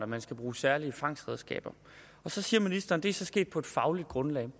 man skal bruge særlige fangstredskaber så siger ministeren det er sket på et fagligt grundlag